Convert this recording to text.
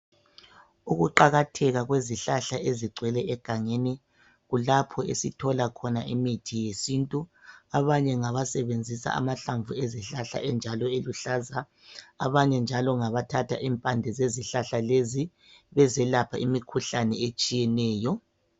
Ukuqatheka kwemithi yesintu esilungisiwe yafakwa phakathi kwamabhokisi ,abanye bayasebenzisa injalo ingamahlanvu loba impande.